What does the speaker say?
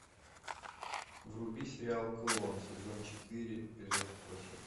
вруби сериал клон сезон четыре эпизод восемь